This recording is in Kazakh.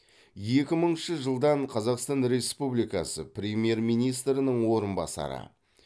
екі мыңыншы жылдан қазақстан республикасы премьер министрінің орынбасары